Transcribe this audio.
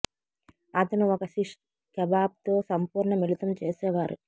అతను ఒక shish kebab తో సంపూర్ణ మిళితం చేసేవారు